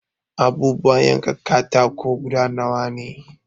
Abubuwan yankan katako guda nawa ne?